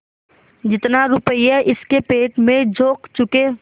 जितना रुपया इसके पेट में झोंक चुके